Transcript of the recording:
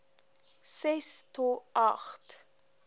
ses to agt